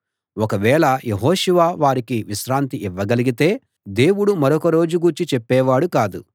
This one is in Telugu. ఒక వేళ యెహోషువ వారికి విశ్రాంతి ఇవ్వగలిగితే దేవుడు మరొక రోజు గూర్చి చెప్పేవాడు కాదు